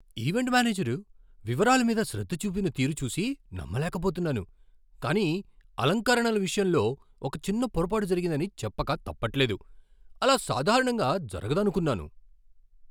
Event manager వివరాల మీద శ్రద్ధ చూపిన తీరు చూసి నమ్మలేకపోతున్నాను, కాని అలంకరణల విషయంలో ఒక చిన్న పొరపాటు జరిగిందని చెప్పక తప్పట్లేదు. అలా సాధారణంగా జరుగదనుకున్నాను.